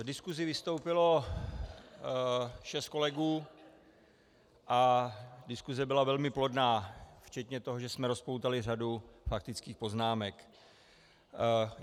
V diskusi vystoupilo šest kolegů a diskuse byla velmi plodná včetně toho, že jsme rozpoutali řadu faktických poznámek.